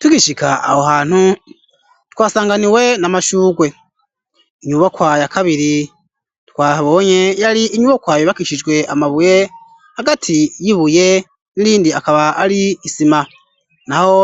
Tugishika aho hantu, twasanganiwe n'amashugwe. Inyubakwa ya kabiri twahabonye, yari inyubakwa yubakishijwe amabuye, hagati y'ibuye n'irindi akaba ari isima. Naho